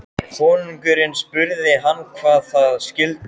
Konungurinn spurði hann hvað það skyldi.